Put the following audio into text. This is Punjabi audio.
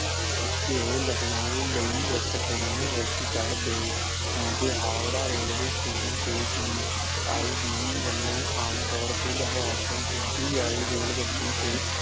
ਓਥੇ ਉਹ ਲਖਨਊ ਲਈ ਇੱਕ ਟ੍ਰੇਨ ਵਿਚ ਚੜ ਗਏ ਕਿਓਂਕਿ ਹਾਵੜਾ ਰੇਲਵੇ ਸਟੇਸ਼ਨ ਤੇ ਸੀ ਆਈ ਡੀ ਵੱਲੋਂ ਆਮਤੌਰ ਤੇ ਲਾਹੌਰ ਤੋਂ ਸਿੱਧੀ ਆਈ ਰੇਲਗੱਡੀ ਤੇ